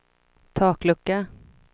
taklucka